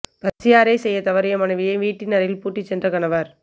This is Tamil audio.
பசியாறை செய்ய தவறிய மனைவியை வீட்டின் அறையில் பூட்டிச் சென்ற கணவர்